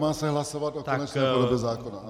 Má se hlasovat o konečné formě zákona.